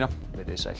verið sæl